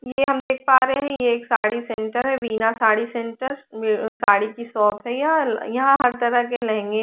ये हम देख पा रही है ये एक साडी सेण्टर विना साडी सेण्टर ये साडी की शॉप है यहाँ है तरह के लहंगे --